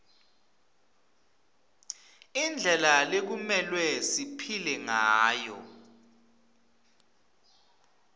indlela lekumelwe siphile ngayo